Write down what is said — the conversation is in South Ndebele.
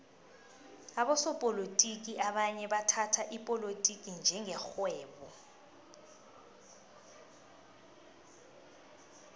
abosopolotiki abanye bathhatha ipolotiki njenge rhwebo